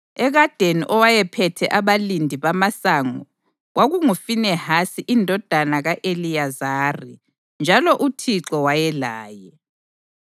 Ekadeni owayephethe abalindi bamasango kwakunguFinehasi indodana ka-Eliyazari njalo uThixo wayelaye.